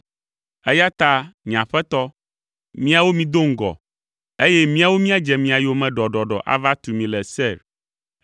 eya ta nye aƒetɔ, miawo mido ŋgɔ, eye míawo míadze mia yome ɖɔɖɔɖɔ ava tu mi le Seir.”